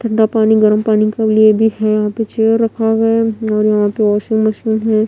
ठंडा पानी गरम पानी का भी ये भी है यहां पे चेयर रखा गया है और यहां पे वॉशिंग मशीन है।